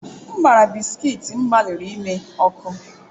M gbara bisikiiti m gbalịrị ime ọkụ.